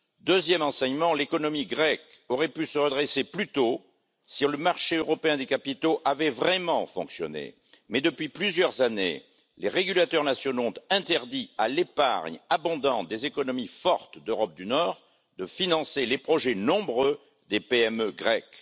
Deuxièmement, l'économie grecque aurait pu se redresser plus tôt si le marché européen des capitaux avait vraiment fonctionné, mais depuis plusieurs années, les régulateurs nationaux ont interdit à l'épargne abondante des économies fortes d'Europe du Nord de financer les projets nombreux des PME grecques.